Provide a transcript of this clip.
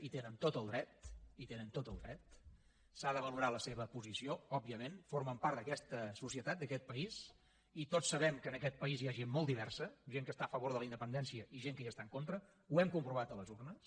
hi tenen tot el dret hi tenen tot el dret s’ha de valorar la seva posició òbviament formen part d’aquesta societat d’aquest país i tots sabem que en aquest país hi ha gent molt diversa gent que està a favor de la independència i gent que hi està en contra ho hem comprovat a les urnes